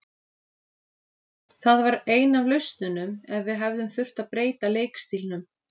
Það var ein af lausnunum ef við hefðum þurft að breyta leikstílnum.